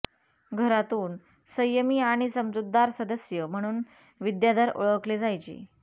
घरातून संयमी आणि समजूतदार सदस्य म्हणून विद्याधर ओळखले जायचे